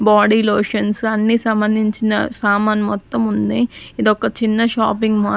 Body lotions అన్నీ సంబంధించిన సామాన్ మొత్తం ఉన్నయ్ ఇదొక చిన్న షాపింగ్ మాల్ .